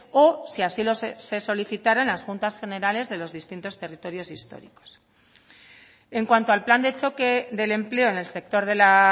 o si así se solicitaran en las juntas generales de los distintos territorios históricos en cuanto al plan de choque del empleo en el sector de la